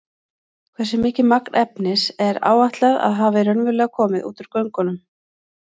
Hversu mikið magn efnis er áætlað að hafi raunverulega komið út úr göngunum?